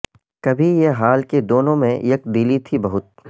کبھی یہ حال کہ دونوں میں یک دلی تھی بہت